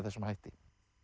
þessum hætti